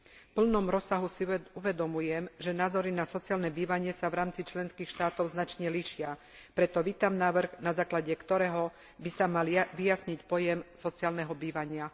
V plnom rozsahu si uvedomujem, že názory na sociálne bývanie sa v rámci členských štátov značne líšia. Preto vítam návrh, na základe ktorého by sa mal vyjasniť pojem sociálneho bývania.